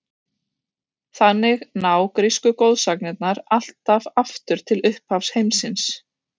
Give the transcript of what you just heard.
Þannig ná grísku goðsagnirnar allt aftur til upphafs heimsins.